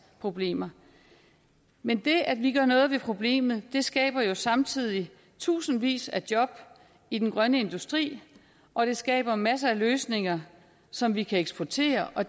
problemer men det at vi gør noget ved problemet skaber jo samtidig tusindvis af job i den grønne industri og det skaber masser af løsninger som vi kan eksportere og